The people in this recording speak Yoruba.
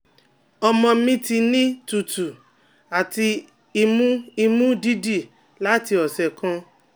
ọmọ mi ti ni tutu ati imu imu didi lati ọsẹ kan